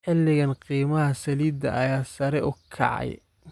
Xiligaan qiimaha saliidda ayaa sare u kacay